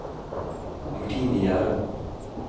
Martine Gjerde